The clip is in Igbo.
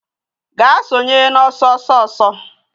Gaa sonye n'ọsọ ọsọ ọsọ